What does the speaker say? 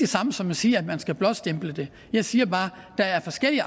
samme som at sige at man skal blåstemple det jeg siger bare at der er forskellige